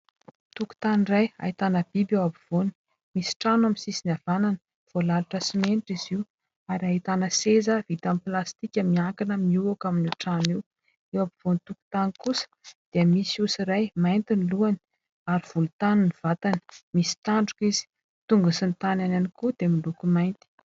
Tokotany iray ahitana biby eo ampovoany. Misy trano amin'ny sisiny havanana, voalalotra simenitra izy io ary ahitana seza vita amin'ny plastika miankina mihoaka amin'io trano io. Eo ampovoan'ny tokotany kosa dia misy osa iray mainty ny lohany ary volontany ny vatany, misy tandroka izy, tongony sy ny tanany ihany koa dia miloko mainty.